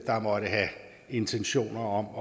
der måtte have intentioner om